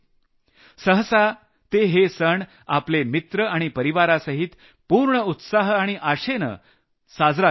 सहसा ते हे सण आपले मित्र आणि परिवारासहित पूर्ण उत्साह आणि आशेनं हा सण साजरा करत होते